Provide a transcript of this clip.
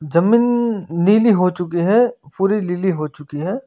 जमीन नीली हो चुकी है पूरी लिली हो चुकी है।